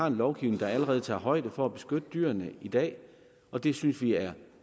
en lovgivning der allerede tager højde for at beskytte dyrene i dag og det synes vi er